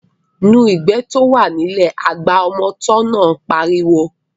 Nu ìgbẹ́ tí ó wà ní ilẹ̀ náà, agba ọmọ tọ́ náà pariwo